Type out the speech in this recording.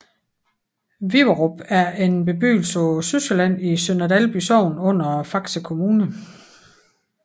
Viverup er en bebyggelse på Sydsjælland i Sønder Dalby Sogn under Faxe Kommune